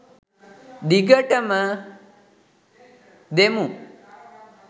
දිගටම දෙමු